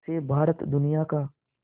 से भारत दुनिया का